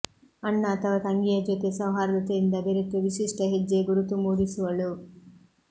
ಅಣ್ಣ ಅಥವಾ ತಂಗಿಯ ಜೊತೆ ಸೌಹರ್ದತೆಯಿಂದ ಬೆರೆತು ವಿಶಿಷ್ಟ ಹೆಜ್ಜೆ ಗುರುತು ಮೂಡಿಸುವಳು